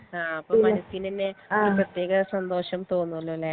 ആ ഇപ്പൊ മനസിനന്നെ ഒരു പ്രേതെക സന്തോഷം തോന്നോലോ ലെ